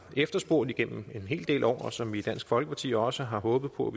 efterspurgt gennem en hel del år og som vi i dansk folkeparti også har håbet på